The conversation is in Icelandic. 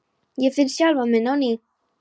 Ég finn sjálfan mig á ný.